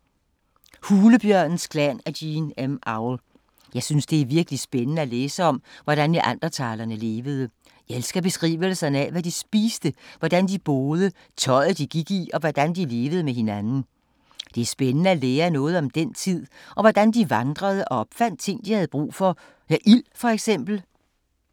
Hulebjørnens klan af Jean M. Auel. Jeg synes, det er virkelig spændende at læse om, hvordan neandertalere levede. Jeg elsker beskrivelserne af, hvad de spiste, hvordan de boede, tøjet de gik i og hvordan de levede med hinanden. Det er spændende at lære noget om den tid og hvordan de vandrede og opfandt ting, de havde brug for. Ild for eksempel.